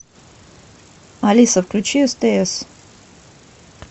алиса включи стс